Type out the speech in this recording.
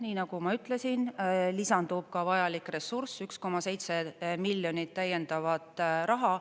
Nii nagu ma ütlesin, lisandub ka vajalik ressurss, 1,7 miljonit täiendavat raha.